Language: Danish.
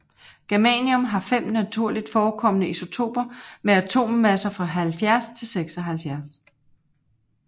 Germanium har fem naturligt forekommende isotoper med atommasser fra 70 til 76